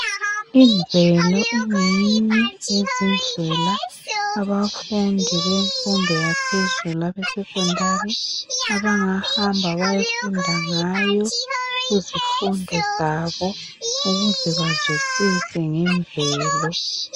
Imvelo ingeyinye yezindlela abafundi bemfundo yaphezulu abesecondary, abangahamba bayofunda ngayo kuzifundo zabo ukuze bazwisise ngemvelo.